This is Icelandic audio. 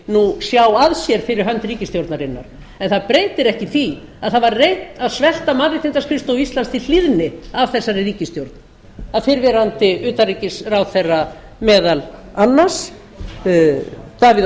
nú sjá að sér fyrir hönd ríkisstjórnarinnar en það breytir ekki því að það var reynt að svelta mannréttindaskrifstofu íslands til hlýðni af þessari ríkisstjórn af fyrrverandi utanríkisráðherra meðal annars davíð